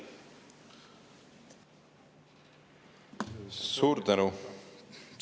Suur tänu!